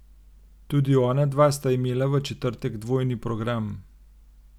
Tudi ona dva sta imela v četrtek dvojni program.